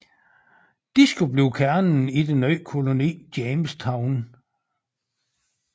De skulle blive kernen i den nye koloni Jamestown